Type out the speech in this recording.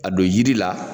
A don yiri la